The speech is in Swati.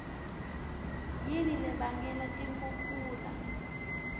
yini lebangela tikhukhula